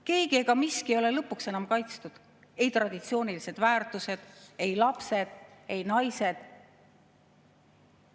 Keegi ega miski ei ole lõpuks enam kaitstud, ei traditsioonilised väärtused, ei lapsed, ei naised.